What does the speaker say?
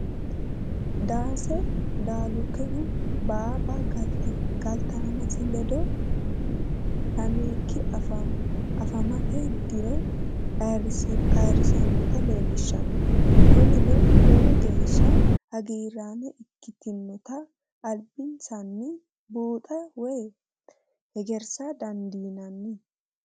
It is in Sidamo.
Dase dalikehu baaba galitaamasi lede lemiiki afhamate diro ayyirisinotta leelishanno, koninino lowo geesha hagiraama ikkitinotta alibi'nsanni buuxxa woyi hegerissa dandinani